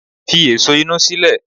Fi èso inú sílẹ̀!